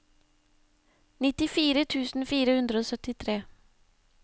nittifire tusen fire hundre og syttitre